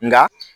Nka